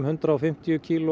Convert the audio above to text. hundrað og fimmtíu kíló